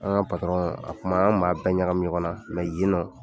An ka a kuma, an kuma bɛɛ ɲagami ɲɔgɔn na yen nɔ